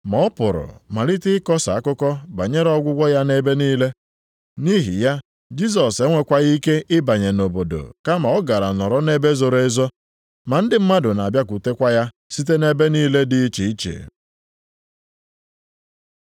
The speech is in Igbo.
Ma ọ pụrụ malite ịkọsa akụkọ banyere ọgwụgwọ ya ebe niile. Nʼihi ya Jisọs enwekwaghị ike ịbanye nʼobodo, kama ọ gara nọrọ nʼebe zoro ezo. Ma ndị mmadụ na-abịakwutekwa ya site nʼebe niile dị iche iche.